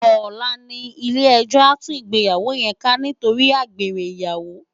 Òlá ni ilé èjò á tú igbéyáwó yèn ká nitóri ágbéré iyáwó